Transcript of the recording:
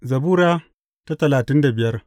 Zabura Sura talatin da biyar